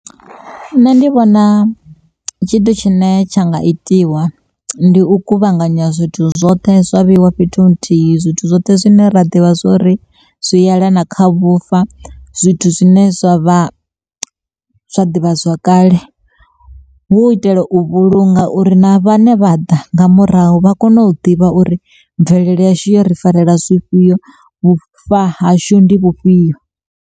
Nṋe ndi vhona tshithu tshine tsha nga itiwa ndi u kuvhanganya zwithu zwoṱhe zwa vheiwa fhethu nthihi, zwithu zwoṱhe zwine ra ḓivha zwori zwi yelana kha vhufa. Zwithu zwine zwa vha zwa ḓivhazwakale hu itela u vhulunga uri na vhane vha ḓa nga murahu vha kone u ḓivha uri mvelele yashu yo ri farela zwifhio vhufa hashu ndi vhufhio.